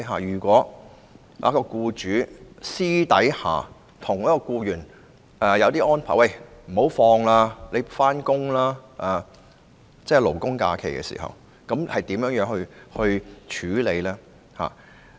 如果僱主私下替僱員作出安排，要求僱員在勞工假期上班，該如何處理？